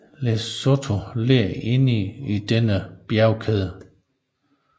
Lesotho ligger inde i denne bjergkæde